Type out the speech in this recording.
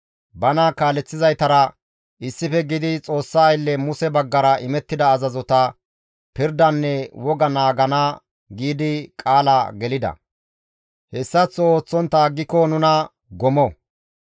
bana kaaleththizaytara issife gididi Xoossa aylle Muse baggara imettida azazota, pirdanne woga naagana giidi qaala gelida; «Hessaththo ooththontta aggiko nuna gomo;